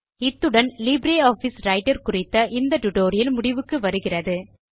இத்துடன் LibreOffice Writer குறித்த spoken tutorial முடிவுக்கு வருகிறது